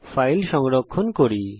এখন এই ফাইলকে সংরক্ষিত করি